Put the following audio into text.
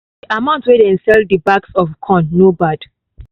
the amount wey dem sell the bags of corn no bad